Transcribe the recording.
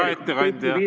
Hea ettekandja!